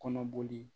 Kɔnɔboli